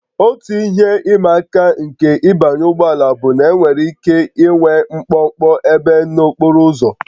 Otu ihe ịma aka nke ịbanye ụgbọ ala bụ na enwere ike ịnwe mkpọmkpọ ebe n'okporo ụzọ